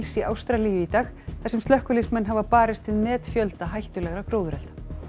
í Ástralíu í dag þar sem slökkviliðsmenn hafa barist við metfjölda hættulegra gróðurelda